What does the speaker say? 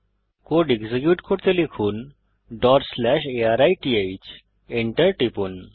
code execute করতে লিখুন arith Enter টিপুন